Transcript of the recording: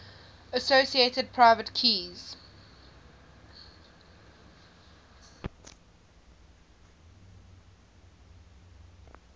associated private keys